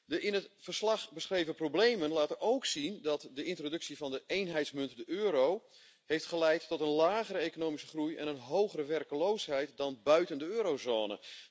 De in het verslag beschreven problemen laten ook zien dat de introductie van de eenheidsmunt, de euro, heeft geleid tot een lagere economische groei en een hogere werkloosheid dan buiten de eurozone.